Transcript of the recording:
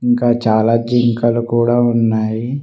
ఇంకా చాలా జింకలు కూడా ఉన్నాయి.